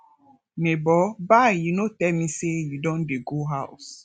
nebor bye you no tell me sey you don dey go house